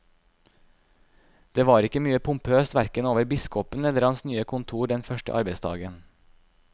Det var ikke mye pompøst hverken over biskopen eller hans nye kontor den første arbeidsdagen.